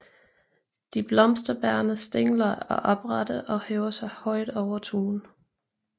De blomsterbærende stængler er oprette og hæver sig højt over tuen